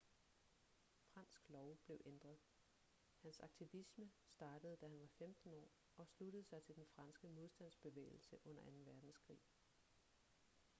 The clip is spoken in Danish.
fransk lov blev ændret hans aktivisme startede da han var 15 år og sluttede sig til den franske modstandsbevægelse under 2. verdenskrig